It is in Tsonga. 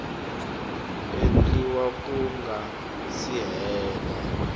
endliwa ku nga si hela